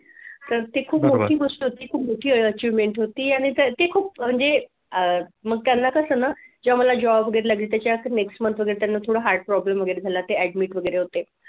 तर ती खूप मोठी गोष्ट होती खूप मोठी achievement होती आणि ते खूप म्हणजे अह मग त्यांना कसं ना जेव्हा मला job बघितला की त्याच्यानंतर next month मध्ये त्यांना थोडं heart problem वगैरे झाला ते admit वगैरे होते.